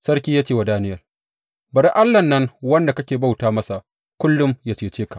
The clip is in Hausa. Sarki ya ce wa Daniyel, Bari Allahn nan wanda kake bauta masa kullum, yă cece ka!